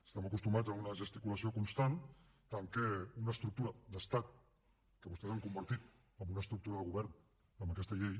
estem acostumats a una gesticulació constant tant que una estructura d’estat que vostès han convertit en una estructura de govern amb aquesta llei